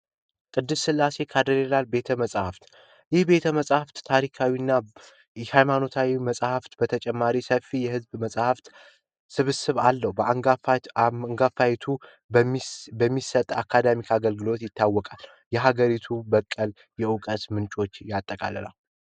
ቅድስት ስላሴ ካቴድራል ቤተመፃፍት ይህ ቤተ መጻፍት ታሪካዊና የሃይማኖታዊ ቤተመፃፍት በተጨማሪ ሰፊ የመጽሃፍ ስብስብ አለዉ ባንጋ በሚሰጠው አካዳሚክ ፕሮግራም ይታወቃል የሀገሪቱ ራስ በቀለ የዕውቀት ምንጭ በመሆኑ ይታወቃል።